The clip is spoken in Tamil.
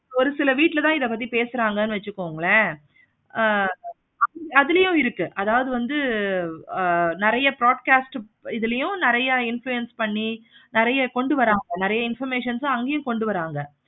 ஒரு சில வீட்டுல தான் இத பத்தி பேசுறாங்க வச்சிக்கோங்களே ஆஹ் அதுலயும் இருக்கு. அது வந்து நெறைய broadcast உ இதுலயும் நெறைய influence பண்ணி நெறைய கொண்டு வராங்க நெறைய information உம் அங்கையும் கொண்டு வராங்க.